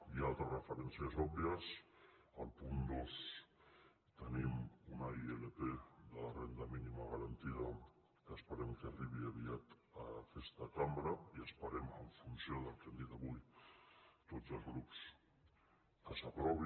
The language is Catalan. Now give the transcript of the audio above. i altres referències òbvies al punt dos tenim una ilp de la renda mínima garantia que esperem que arribi aviat a aquesta cambra i esperem en funció del que han dit avui tots els grups que s’aprovi